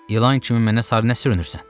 İlan kimi mənə sarı nə sürünürsən?